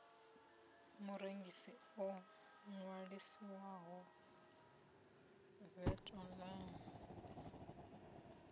murengisi o ṅwaliselwaho vat online